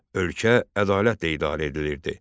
Ölkə ədalətlə idarə edilirdi.